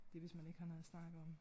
Det hvis man ikke har noget at snakke om